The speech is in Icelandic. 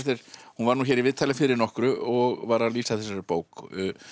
hún var nú hér í viðtali fyrir nokkru og var að lýsa þessari bók